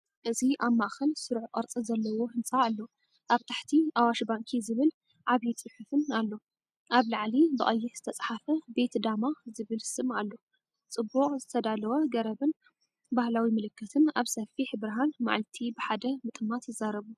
እዚ ኣብ ማእከል ስሩዕ ቅርጺ ዘለዎ ህንጻ ኣሎ። ኣብ ታሕቲ “ኣዋሽ ባንኪ”ዝብል ዓቢ ጽሑፍን ኣሎ። ኣብ ላዕሊ ብቀይሕ ዝተጻሕፈ “ቤት ዳማ” ዝብል ስም ኣሎ ጽቡቕ ዝተዳለወ ገረብን ባህላዊ ምልክትን ኣብ ሰፊሕ ብርሃን መዓልቲ ብሓደ ምጥማት ይዛረቡ።